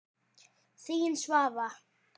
Þín, Svava.